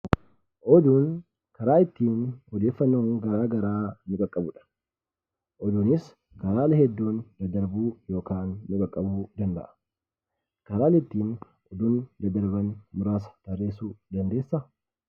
Oduun karaa ittiin odeeffannoo garaa garaa nu qaqqabudha. Oduunis haala hedduun daddarbuu yokaan nu qaqqabuu danda'a. Karaan ittiin oduun daddarban muraasa tarreessuu dandeessaa?